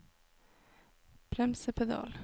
bremsepedal